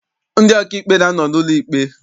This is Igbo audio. Ndị ọkaikpe na-anọ n'ụlọ ikpe.